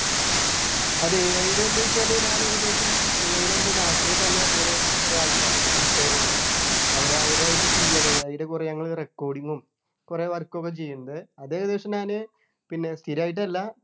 അത് AI ടെ ന്നു വെച്ചാല് ഞാൻ ഏകദേശം AI ടെ എൻ്റെ നാട്ടില് തന്നെ കുറെ കുറെ ആൾക്കാരുണ്ട് കൂട്ടുകാരുണ്ട് അവര അവരായിട്ടു ചെയ്യണു അതിൻ്റെ കുറെ ഞങ്ങള് recording ഉം കുറെ work ഒക്കെ ചെയ്യുന്നുണ്ട് അത് ഏകദേശം ഞാന് പിന്നെ സ്ഥിരായിട്ടല്ല